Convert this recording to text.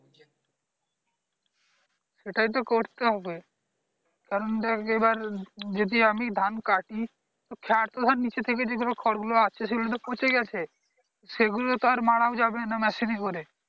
এটাই তো করতে হবে কারণ দেখ এবার আমি যদি ধান কাটি তো খড় তো নিচে থেকে যে খড় গুলো আছে সেগুলো তো পচেই আছে সেগুলো তো আর মারাও যাবে না machine এ করে